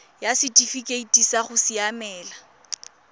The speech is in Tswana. ya setifikeite sa go siamela